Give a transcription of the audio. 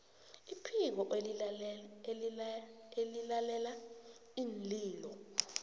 iphiko elilalela iinlilo